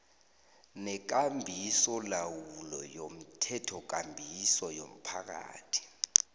nekambisolawulo yomthethokambiso yomphakathi